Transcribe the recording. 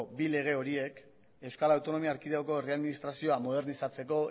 bi lege horiek euskal autonomia erkidegoko herri administrazioa modernizatzeko